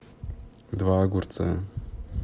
два огурца